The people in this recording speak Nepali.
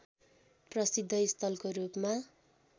प्रसिद्ध स्थलको रूपमा